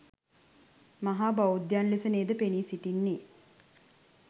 මහා බෞද්ධයන් ලෙස නේද පෙනී සිටින්නේ?